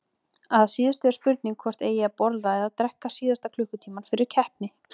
Að síðustu er spurning hvort eigi að borða eða drekka síðasta klukkutímann fyrir keppni.